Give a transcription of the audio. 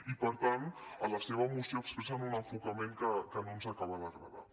i per tant a la seva moció expressen un enfocament que no ens acaba d’agradar